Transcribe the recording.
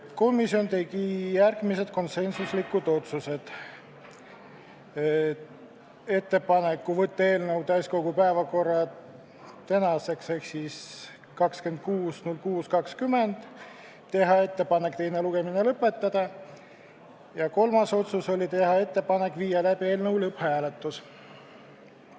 Komisjon tegi järgmised konsensuslikud otsused: võtta eelnõu täiskogu päevakorda tänaseks ehk 26. veebruariks, teha ettepanek teine lugemine lõpetada ja teha ettepanek viia läbi eelnõu lõpphääletus.